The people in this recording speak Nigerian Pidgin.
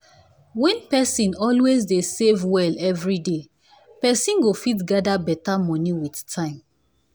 when person always dey save well every day person go fit gather better money with time.